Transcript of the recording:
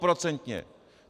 Stoprocentně.